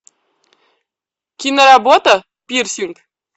киноработа пирсинг